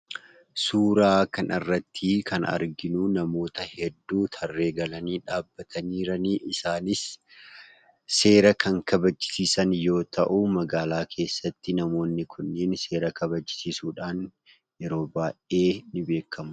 Suuraa kanarrattii kan arginuu namoota hedduu tarree galanii dhaabbatanii jiranii isaanis seera kan kabachisiisan yoo ta'uu magaalaa keessatti namoonni kunniin seera kabachiisiisuudhaan yeroo baay'ee ni beekkamu.